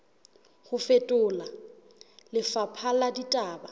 ho fetola lefapha la ditaba